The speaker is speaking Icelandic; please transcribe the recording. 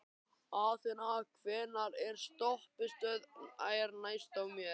Athena, hvaða stoppistöð er næst mér?